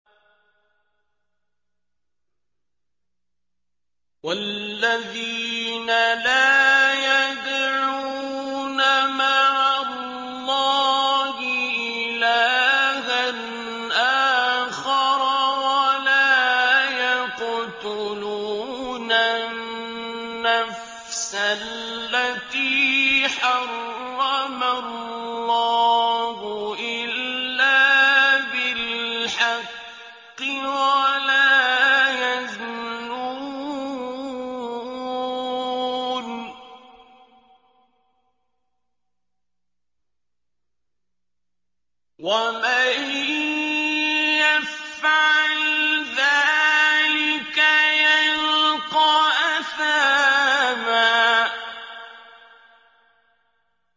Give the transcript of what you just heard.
وَالَّذِينَ لَا يَدْعُونَ مَعَ اللَّهِ إِلَٰهًا آخَرَ وَلَا يَقْتُلُونَ النَّفْسَ الَّتِي حَرَّمَ اللَّهُ إِلَّا بِالْحَقِّ وَلَا يَزْنُونَ ۚ وَمَن يَفْعَلْ ذَٰلِكَ يَلْقَ أَثَامًا